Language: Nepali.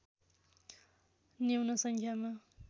न्यून सङ्ख्यामा